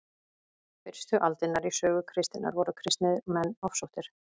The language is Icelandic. fyrstu aldirnar í sögu kristninnar voru kristnir menn ofsóttir